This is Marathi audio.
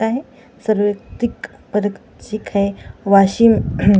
वाशिम --